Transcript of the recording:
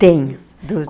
Tenho.